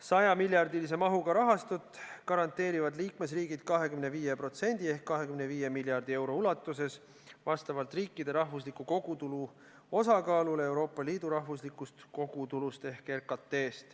Sajamiljardilise mahuga rahastut garanteerivad liikmesriigid 25% ehk 25 miljardi euro ulatuses vastavalt riikide rahvusliku kogutulu osakaalule Euroopa Liidu rahvuslikus kogutulus ehk RKT-s.